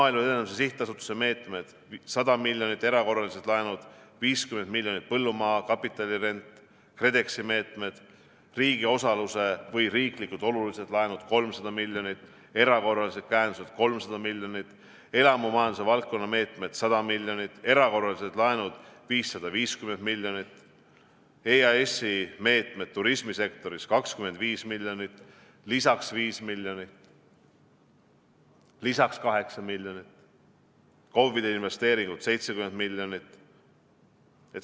Maaelu Edendamise Sihtasutuse meetmed – 100 miljonit, erakorralised laenud – 50 miljonit, põllumaa kapitalirent, KredExi meetmed, riigi osaluse või riiklikult olulised laenud – 300 miljonit, erakorralise käendused – 300 miljonit, elamumajanduse valdkonna meetmed – 100 miljonit, erakorralised laenud – 550 miljonit, EAS-i meetmed turismisektoris – 25 miljonit, lisaks 5 miljonit, lisaks 8 miljonit, KOV-ide investeeringud – 70 miljonit.